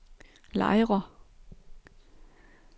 Lejre